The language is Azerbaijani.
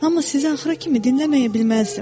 Amma sizi axıra kimi dinləməyə bilməzdim.